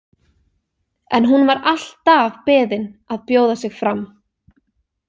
En hún var alltaf beðin að bjóða sig fram.